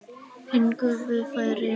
Fengum við færi?